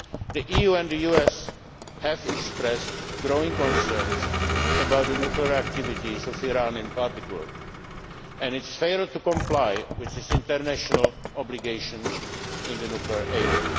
destruction. The EU and the US have expressed growing concerns about the nuclear activities of Iran in particular and its failure to comply with its international obligations in the